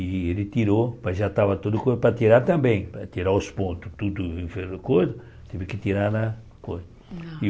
E ele tirou, mas já estava tudo para tirar também, para tirar os pontos, tudo, teve que tirar na coisa.